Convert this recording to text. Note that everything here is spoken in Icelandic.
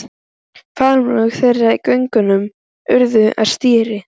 Faðmlög þeirra í göngunum urðu að stríði.